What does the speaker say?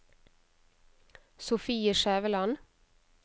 Sofie Skjæveland